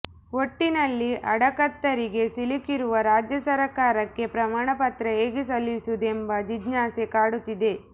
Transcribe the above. ಒಟ್ಟಿನಲ್ಲಿ ಅಡಕತ್ತರಿಗೆ ಸಿಲುಕಿರುವ ರಾಜ್ಯ ಸರಕಾರಕ್ಕೆ ಪ್ರಮಾಣಪತ್ರ ಹೇಗೆ ಸಲ್ಲಿಸುವುದು ಎಂಬ ಜಿಜ್ಞಾಸೆ ಕಾಡುತ್ತಿದೆ